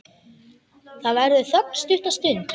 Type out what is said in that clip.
Það verður þögn stutta stund.